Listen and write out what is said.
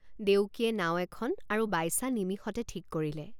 দেউকীয়ে নাও এখন আৰু বাইচা নিমিষতে ঠিক কৰিলে।